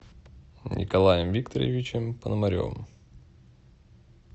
николаем викторовичем пономаревым